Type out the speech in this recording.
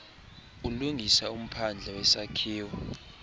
ulungisa umphandle wesakhiwo